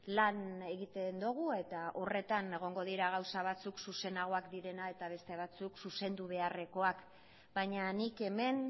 lan egiten dugu eta horretan egongo dira gauza batzuk zuzenagoak direna eta beste batzuk zuzendu beharrekoak baina nik hemen